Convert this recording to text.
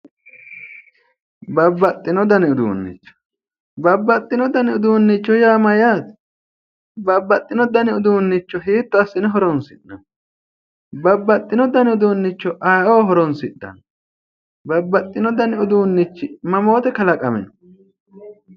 Babbaxxino dani uduunnicho babbaxxino dani uduunnicho yaa mayyaate babbaxxino dani uduunnicho hiitto assine horoonsi'nanni babbaxxino dani uduunnicho aye'oo horoonsidhanno babbaxxono dani uduunnichi mamoote kalaqamino